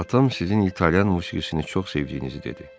atam sizin İtalyan musiqisini çox sevdiyinizi dedi.